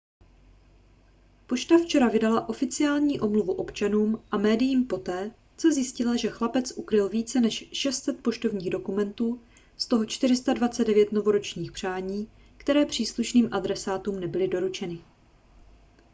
pošta včera vydala oficiální omluvu občanům a médiím poté co zjistila že chlapec ukryl více než 600 poštovních dokumentů z toho 429 novoročních přání které příslušným adresátům nebyly doručeny